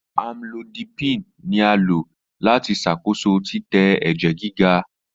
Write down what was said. Amlodipine ni a lo lati ṣakoso titẹ ẹjẹ giga.